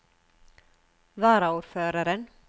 varaordføreren